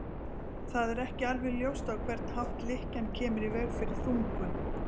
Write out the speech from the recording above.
Það er ekki alveg ljóst á hvern hátt lykkjan kemur í veg fyrir þungun.